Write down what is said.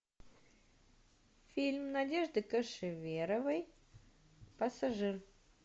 фильм надежды кошеверовой пассажир